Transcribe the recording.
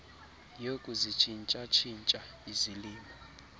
yokuzitshintsha tshintsha izilimo